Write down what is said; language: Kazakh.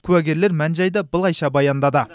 куәгерлер мән жайды былайша баяндады